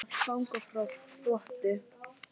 Friðþjófs og hlýða á perlurnar falla.